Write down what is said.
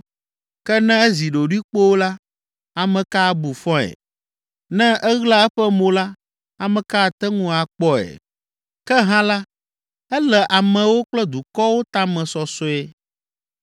Ke ne ezi ɖoɖoe kpoo la, ame ka abu fɔe? Ne eɣla eƒe mo la, ame ka ate ŋu akpɔe? Ke hã la, ele amewo kple dukɔwo tame sɔsɔe,